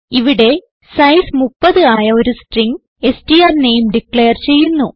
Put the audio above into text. ഇവിടെ സൈസ് 30 ആയ ഒരു സ്ട്രിംഗ് സ്ട്ര്നേം ഡിക്ലയർ ചെയ്യുന്നു